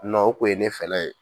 o kun ye ne fɛla ye.